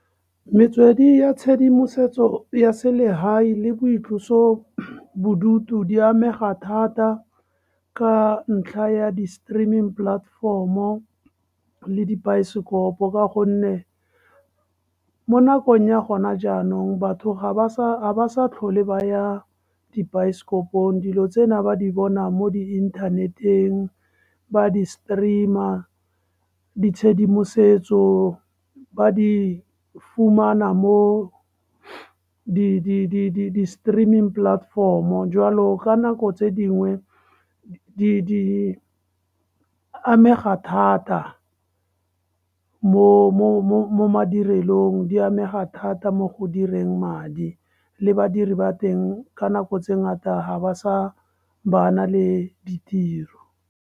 Metswedi ya tshedimosetso ya selegae le boitlosabodutu di amega thata, ka ntlha ya di-streaming platform-o le dibaesekopo ka gonne, mo nakong ya gona jaanong batho ha ba sa tlhole ba ya dibaesekopong, dilo tsena ba di bona mo di inthaneteng, ba di-streame-a, ditshedimosetso ba di fumana mo di-streaming platform-o. Jwalo ka nako tse dingwe, di amega thata mo madirelong, di amega thata mo go direng madi, le badiri ba teng ka nako tse ngata ha ba sa bana le tiro.